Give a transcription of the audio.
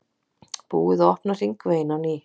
Búið að opna hringveginn á ný